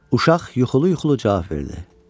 Uşaq yuxulu-yuxulu cavab verdi: